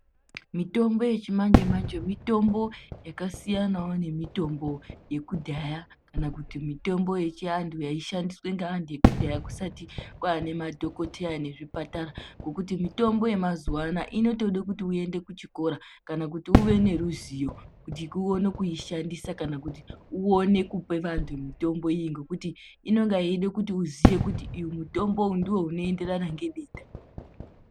Mitombo yechimanje-manje mitombo yakasiyanawo nemitombo yekudhaya kana kuti mitombo yechiantu yaishandiswe ngaantu ekudhaya kusati kwaane madhokoteya nezvipatara, Ngekuti mitombo yemazuwa anaya inotode kuti uende kuchikora kana kuti uve neruziyo kuti uone kuishandisa kana kuti uone kupe vantu mitombo iyo ngekuti inonge yeide kuti uziye kuti uyu mutombo uyu ndounoenderana ngedenda.